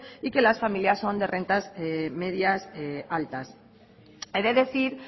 y que las familias son de rentas medias altas he de decir